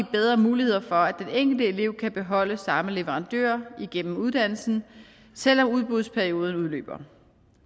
bedre muligheder for at den enkelte elev kan beholde samme leverandør igennem uddannelsen selv om udbudsperioden udløber